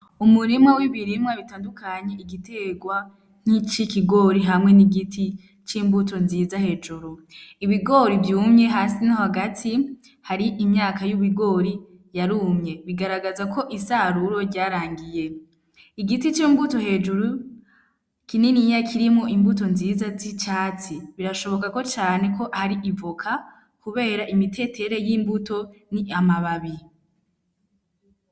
Umurimwa w'ibirimwa bitandukanye igiterwa nk'icikigori hamwe n'igiti c'imbuto nziza hejuru, ibigori vyumye hasi no hagati hari imyaka y'ibigori yarumye bigaragaza ko isaruro ryarangiye, igiti c'imbuto hejuru kininiya kirimwo imbuto nziza z'icatsi birashoboka ko cane ko ari ivoka, kubera imitetere y'imbuto ni amababi.